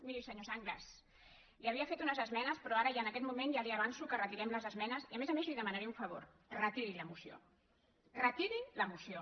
miri senyor sanglas havia fet unes esmenes però ara i en aquest moment ja li avanço que retirem les esmenes i a més a més li demanaré un favor retiri la moció retiri la moció